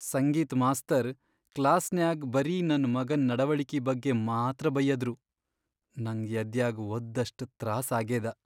ಸಂಗೀತ್ ಮಾಸ್ತರ್ ಕ್ಲಾಸ್ನ್ಯಾಗ್ ಬರೀ ನನ್ ಮಗನ್ ನಡವಳಕಿ ಬಗ್ಗೆ ಮಾತ್ರ ಬಯ್ಯದ್ರು, ನಂಗ್ ಯದ್ಯಾಗ್ ವದ್ದಷ್ಟ್ ತ್ರಾಸ್ ಆಗೇದ.